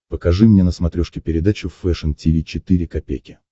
покажи мне на смотрешке передачу фэшн ти ви четыре ка